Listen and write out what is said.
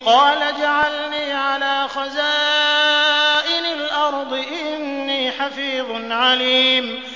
قَالَ اجْعَلْنِي عَلَىٰ خَزَائِنِ الْأَرْضِ ۖ إِنِّي حَفِيظٌ عَلِيمٌ